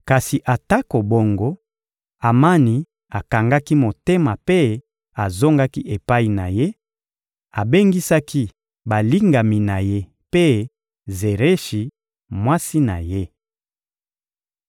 Kasi atako bongo, Amani akangaki motema mpe azongaki epai na ye; abengisaki balingami na ye mpe Zereshi, mwasi na ye.